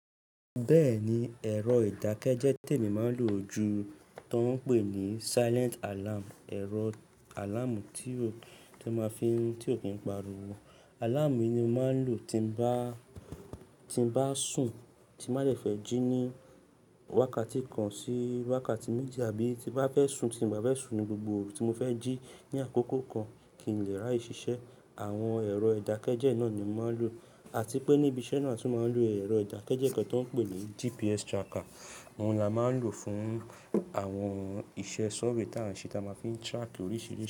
Bẹ́ẹ̀ni, ẹ̀rọ ìdákẹ́jẹ́ tèmí màá ń lò ju, tó ń pè ní silent alarm. Ẹ̀rọ alamú tí ó, tí ó ma fi ń, tí ò kí ń pariwo. Alamú yìí ni mo máa ń lò tí bá, tí bá sùn, tí màá fẹ́ jí ní wákàtí kan sí wákàtí méje àbí tí bá fẹ́ sùn, tí bá fẹ́ sùn ni gbogbo orù tí mo fẹ́ jí ní àkókò kan kí n lè rí aye ṣiṣẹ́. Àwọn ẹ̀rọ ìdákẹ́jẹ́ náà ni mo máa ń lò, àti pé níbi iṣẹ́ náà ti máa ń lò ẹ̀rọ ìdákẹ́jẹ́ kan tó ń pè ní GPS tracker. Awọn la máa ń lò fún àwọn iṣẹ́ ṣọ́vẹ̀ tá ń ṣe, táa máa fi ń track oríṣiríṣi.